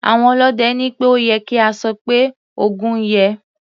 Àwọn ọlọ́dẹ ní pé ó ye kí a sọ pé "Ògún yè".